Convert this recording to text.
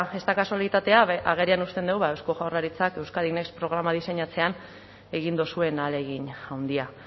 ez da kasualitatea agerian uzten du eusko jaurlaritzak euskadi next programa diseinatzean egin duzuen ahalegin handia